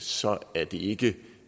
så er det ikke